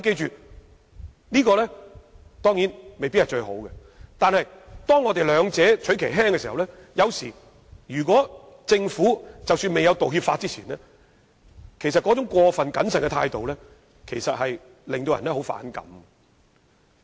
這當然未必是最好，但若要兩害取其輕，我們也不能忘記在制定道歉法之前，政府那種過分謹慎的態度，其實令人相當反感。